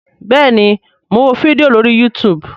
bẹẹni, Mọ n wó fídíò lórí youtube